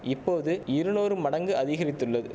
இப்போது இருநூறு மடங்கு அதிகரித்துள்ளது